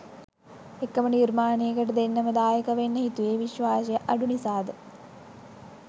එකම නිර්මාණයකට දෙන්නම දායකවෙන්න හිතුවේ විශ්වාසය අඩු නිසාද?